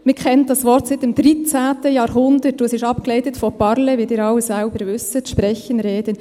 Man kennt dieses Wort seit dem XIII. Jahrhundert, und es ist abgeleitet von «parler», also «sprechen», «reden», wie Sie alle selbst wissen.